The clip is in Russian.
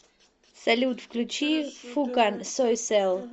салют включи фукан сойсэл